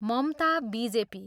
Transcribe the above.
Mamata, BJP.